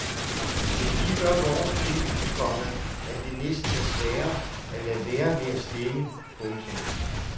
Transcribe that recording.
Men vi gør vores til, komma at det næsten er sværere at lade være med at stemme. punktum